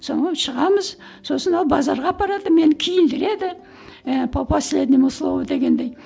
сонымен шығамыз сосын ол базарға апарады мені киіндіреді ііі по последнему слову дегендей